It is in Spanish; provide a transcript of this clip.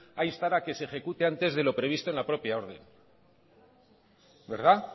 a instar a que se ejecute antes de lo previsto en la propia orden